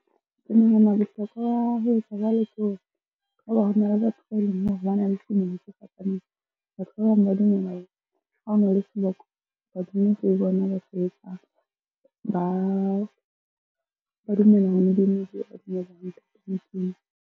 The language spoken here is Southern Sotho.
Ke nahana bohlokwa ba ho etsa jwalo ke bana le tumelo tse fapaneng. Batho ba bang ba dumela hore ha o na le seboko badimo ke bona ba . Ba dumela ntate .